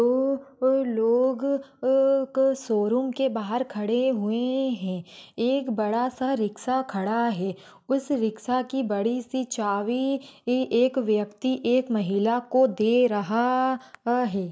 अह अ लोग अह एक शोरूम के बाहर खड़े हुए है एक बड़ा सा रिक्सा खड़ा है उस रिक्सा की बड़ी सी चाबी एक व्यक्ति एक महिला को दे रहा अ है।